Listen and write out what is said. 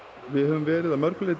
við höfum verið að mörgu leyti